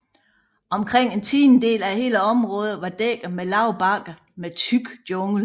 Omkring en tiendedel af hele området var dækket af lave bakker med tyk jungle